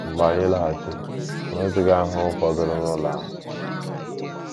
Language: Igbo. Mgbe anyị lọghachiri, o nweghịzi ahụhụ fọdụrụ n’ụlọ ahụ. ”